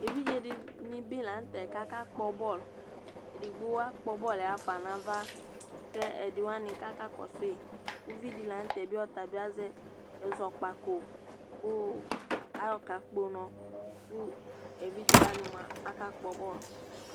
ɛvidzɛ dinibilɑɲtɛ ɑkɑkpobol ɛdigbo ɑkpobolɛ hɑfɑnɑvɑ kɛ ɛdiwɑni kɑkɑkɔsui uvidilɑɲtɛ ɑzɛ ɛzɔkpɑko ku ɑyokɑkpo unɔ ɛvidzɛwɑni muɑ ɑkɑkpɔ bol